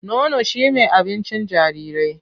Nono shi me abincin jarirai.